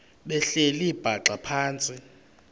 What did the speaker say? behleli bhaxa phantsi